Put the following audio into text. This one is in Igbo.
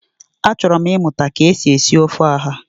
Achọrọ m ịmụta ka e si esi ofe ọha